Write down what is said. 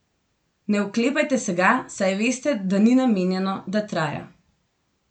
Ne oklepajte se ga, saj veste, da ni namenjeno, da traja.